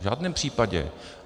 V žádném případě.